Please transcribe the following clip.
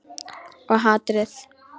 Og hatrið.